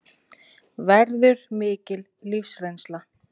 Verður mikil lífsreynsla